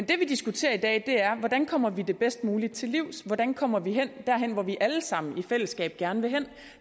diskuterer i dag er hvordan vi kommer det bedst muligt til livs hvordan vi kommer derhen hvor vi alle sammen i fællesskab gerne vil hen